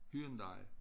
Hyundai